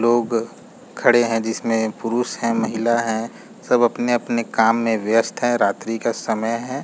लोग खड़े हैं जिसमें पुरुष हैमहिला है सब अपने-अपने कार्य में व्यस्त है रात्रि का समय है।